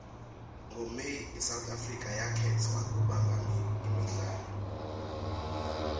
ngo may isouth africa yakhetfwa kubamba imidlalo